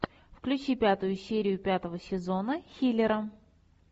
включи пятую серию пятого сезона хилера